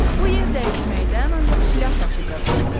Bu yerdəyişməkdən ancaq Şlyapaçı qazandı.